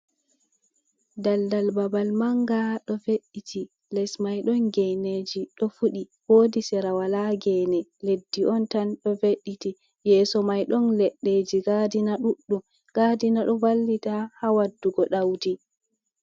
Daldal babal manga ɗo ɓe'iiti les mai ɗon geeneji ɗo fuɗi, wodi sera wala geene, leddi on tan ɗo be'iiti yeso mai ɗon leɗɗeji em gadina ɗuɗɗum, gadina ɗo vallita ha waddugo ɗaudi.